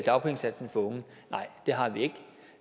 dagpengesatsen for unge nej det har vi ikke